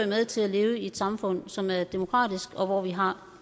med til at leve i et samfund som er demokratisk og hvor vi har